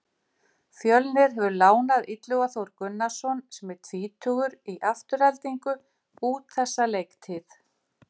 Fjölnir hefur lánað Illuga Þór Gunnarsson sem er tvítugur í Aftureldingu út þessa leiktíð.